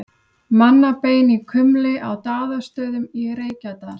Mannabein í kumli á Daðastöðum í Reykjadal.